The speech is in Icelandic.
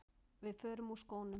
Við förum úr skónum.